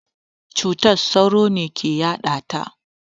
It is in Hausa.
Cutar sauro ne ke yaɗata.